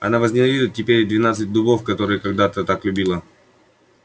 она возненавидела теперь и двенадцать дубов которые когда-то так любила